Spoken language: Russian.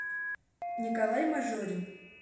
николай мажорин